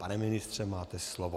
Pane ministře, máte slovo.